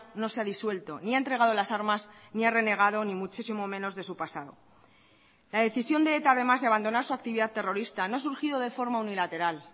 no se ha disuelto ni ha entregado las armas ni ha renegado ni muchísimo menos de su pasado la decisión de eta además de abandonar su actividad terrorista no ha surgido de forma unilateral